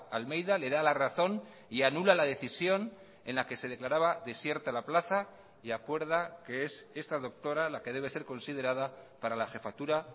almeida le da la razón y anula la decisión en la que se declaraba desierta la plaza y acuerda qué es esta doctora la que debe ser considerada para la jefatura